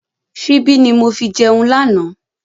Síbi ni mo fi jẹun lànà